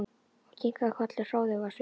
Og kinkaði kolli hróðug á svip.